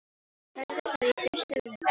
Sagði það í fyrstu við Lenu.